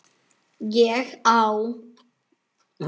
ÉG Á